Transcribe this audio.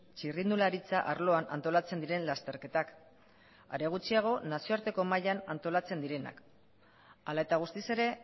txirrindularitza arloan antolatzen diren lasterketak are gutxiago nazioarteko mailan antolatzen direnak hala eta guztiz ere